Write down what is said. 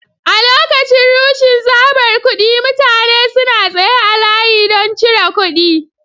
A lokacin rashin tsabar kuɗi mutane suna tsaye a layi don cire kuɗi.